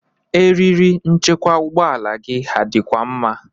Eriri nchekwa ụgbọala gi ha dịkwa mma?